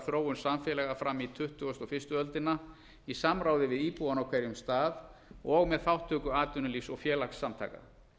þróun samfélaga fram á tuttugustu og fyrstu öldina í samráði við íbúana á hverjum stað og með þátttöku atvinnulífs og félagasamtaka